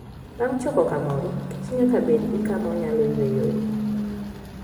Bang' choko kamoro, kich nyaka bed gi kama onyalo yueyoe.